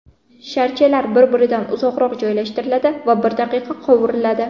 Sharchalar bir-biridan uzoqroq joylashtiriladi va bir daqiqa qovuriladi.